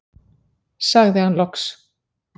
sagði hann loks.